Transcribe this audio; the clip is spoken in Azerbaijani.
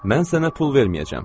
Mən sənə pul verməyəcəm.